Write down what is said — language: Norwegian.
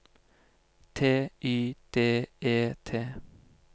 T Y D E T